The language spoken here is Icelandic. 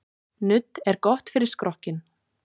Nudd er gott fyrir skrokkinn.